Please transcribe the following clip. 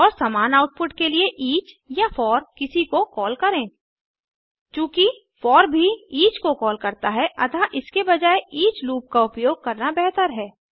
और समान आउटपुट के लिए ईच या फोर किसी को कॉल करें चूँकि फोर भी ईच को कॉल करता है अतः इसके बजाये ईच लूप का उपयोग करना बेहतर है